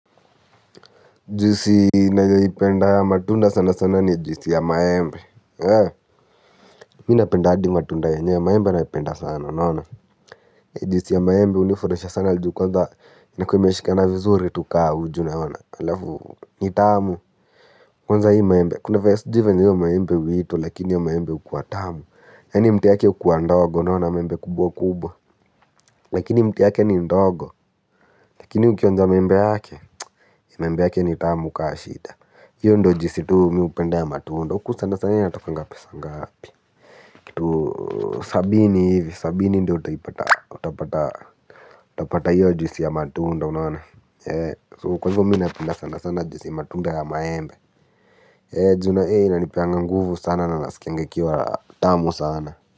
Juisi nayoipenda ya matunda sana sana ni juisi ya maembe. Mimi napenda hadi matunda yenyewe maembe naipenda sana unaona. Juisi ya maembe hunifuraisha sana ju kwanza inakuwa imeshikana vizuri tu kama uji unaona halafu ni tamu kwanza hii maembe kuna venye sijui venye hio maembe huitwa lakini hiyo maembe hukua tamu. Yaani mti yake hukua ndogo unaona maembe kubwa kubwa. Lakini mti yake ni ndogo lakini ukionja maembe yake maembe yake ni tamu kama shida hiyo ndo juisi tu mimi hupenda ya matunda huku sana sana inatokanga pesa ngapi kitu sabini hivi sabini ndo utapata utapata hiyo juisi ya matunda unaona ee kwa hivyo mimi napenda sana sana juisi ya matunda ya maembe ee juu na ina nipeanga nguvu sana na nasikianga ikiwa tamu sana.